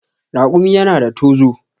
Raƙumi yana da tozo.